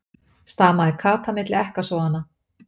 stamaði Kata milli ekkasoganna.